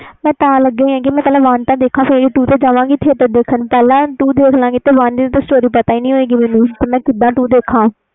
ਮੈਂ ਤਾ ਲੱਗੀ ਹੋਈ ਵ ਪਹਿਲੇ one ਤੇ ਦੇਖਾ ਫਿਰ ਹੀ two ਤੇ ਜਾਵਾਗੀ theatre ਵਿਚ ਪਹਿਲੇ two ਦੇਖ ਲੈ ਗੀ ਤੇ story ਪਤਾ ਹੀ ਨਹੀਂ ਹੋਵੇ ਗੀ ਪਹਿਲੇ two ਕੀਦਾ ਦੇਖਾ